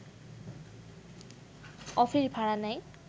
office ভাড়া নেয়